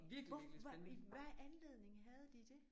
Hvad i hvad anledning havde de det?